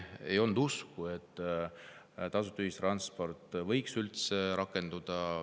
Ei olnud usku, et tasuta ühistransport võiks üldse rakenduda.